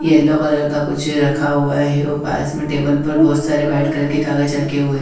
Yellow colour का कुछ रखा हुआ है वो बायस मे टेबल पर बहोत सारे वाइट कलर के कागज रखे हुए।